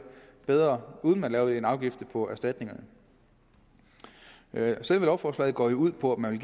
bedre uden at lavet en afgift på erstatningerne selve lovforslaget går ud på at man